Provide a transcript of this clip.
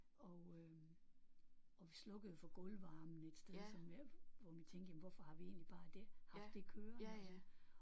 Og øh og vi slukkede for gulvvarmen et sted som hvor vi tænkte jamen hvorfor har vi egentlig bare det haft det kørende